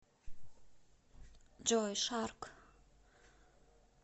джой шарк